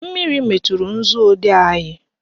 Mmiri meturu nzuodee anyị